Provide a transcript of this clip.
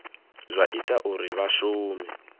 zwa ita uri vha shume